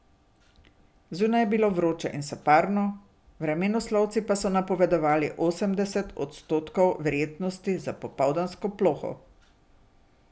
Zunaj je bilo vroče in soparno, vremenoslovci pa so napovedovali osemdeset odstotkov verjetnosti za popoldansko ploho.